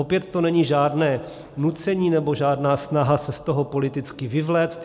Opět to není žádné nucení nebo žádná snaha se z toho politicky vyvléct.